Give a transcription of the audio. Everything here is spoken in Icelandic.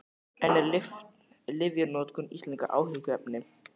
En er lyfjanotkun Íslendinga áhyggjuefni?